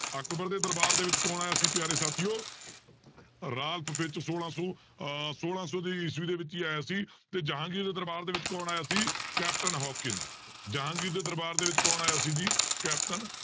ਅਕਬਰ ਦੇ ਦਰਬਾਰ ਦੇ ਵਿੱਚ ਕੌਣ ਆਇਆ ਸੀ ਪਿਆਰੇ ਸਾਥੀਓ ਰਾਲਫ਼ ਫਿਚ ਛੋਲਾਂ ਸੌ ਅਹ ਛੋਲਾਂ ਸੌ ਦੇ ਈਸਵੀ ਦੇ ਵਿੱਚ ਹੀ ਆਇਆ ਸੀ ਤੇ ਜਹਾਂਗੀਰ ਦੇ ਦਰਬਾਰ ਦੇ ਵਿੱਚ ਕੌਣ ਆਇਆ ਸੀ ਕੈਪਟਨ ਹਾਕਨਸ ਜਹਾਂਗੀਰ ਦੇ ਦਰਬਾਰ ਦੇ ਵਿੱਚ ਕੌਣ ਆਇਆ ਸੀ ਜੀ ਕੈਪਟਨ